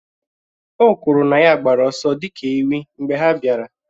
O kwuru na ya gbara ọsọ dị ka ewị́ mgbe ha bịara.